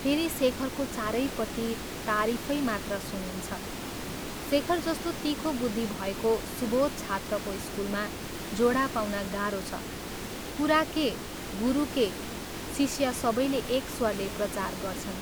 फेरि शेखरको चारैपट्टि तारीफै मात्र सुनिन्छ शेखर जस्तो तीखो बुद्धि भएको सुबोध छात्रको स्कूलमा जोडा पाउन गाह्रो छ, कुरा के गुरु के शिष्य सबैले एक स्वरले प्रचार गर्छन्।